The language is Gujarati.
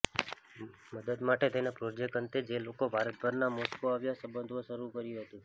મદદ માટે તેને પ્રોજેક્ટ અંતે જે લોકો ભારતભરના મોસ્કો આવ્યા સંબોધવા શરૂ કર્યું હતું